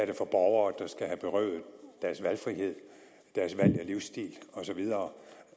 det for borgere der skal have berøvet deres valgfrihed deres valg af livsstil osv